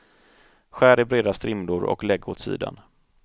Skär i breda strimlor och lägg åt sidan.